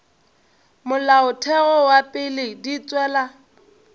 molaotheo wa pele di tšwela